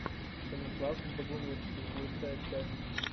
станислав богумирский лучшая часть